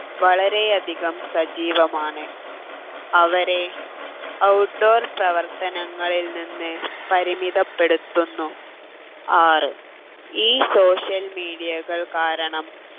വളരെയധികം സജീവമാണ് അവരെ out door പ്രവർത്തനങ്ങളിൽ നിന്ന് പരിമിതപ്പെടുത്തുന്നു ആറ് ഈ social media കാരണം